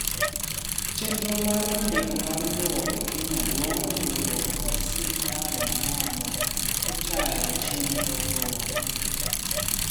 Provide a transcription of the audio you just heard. chenro mar andika mar lowo ekenya dwaro riuruok kod sirkal mamalo e tayochienrogo